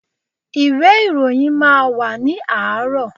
Ìwé ìròyìn máa wà ní àárọ̀.